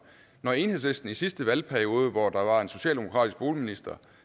når enhedslisten i sidste valgperiode hvor der var en socialdemokratisk boligminister